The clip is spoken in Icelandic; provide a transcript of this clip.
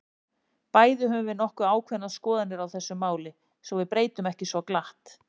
Bæði höfum við nokkuð ákveðnar skoðanir á þessu máli, sem við breytum ekki svo glatt.